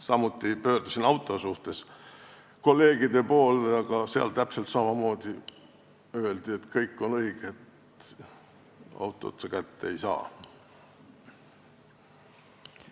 Samuti pöördusin auto pärast kolleegide poole, aga täpselt samamoodi öeldi, et kõik on õige, autot sa kätte ei saa.